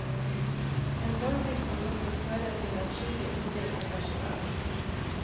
En holdning som nok vil føre til adskillig undring ellers i verden.